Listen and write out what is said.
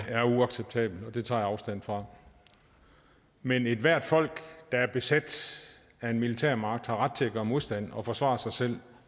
er uacceptabelt det tager jeg afstand fra men ethvert folk der er besat af en militær magt har ret til at gøre modstand og forsvare sig selv